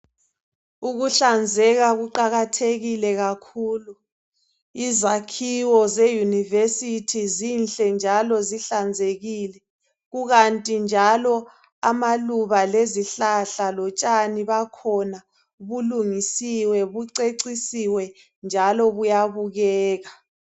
Ukuhlanzeka kuqakathekile kakhulu izakhiwo zeunivesithi zinhle njalo zihlanzekile kukanti njalo amaluba lezihlahla kulungisiwe kucecisiwe njalo kuyabukeka.